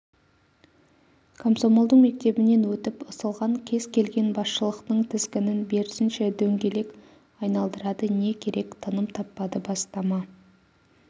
комсомолдың мектебінен өтіп ысылған кез келген басшылықтың тізгінін берсінші дөңгелек айналдырады не керек тыным таппады бастама